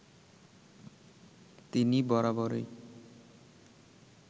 তিনি বরাবরই